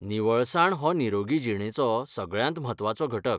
निवळसाण हो निरोगी जीणेचो सगळ्यांत म्हत्वाचो घटक.